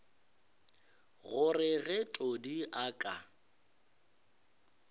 gore ge todi a ka